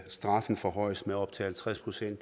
straffen forhøjes med op til halvtreds procent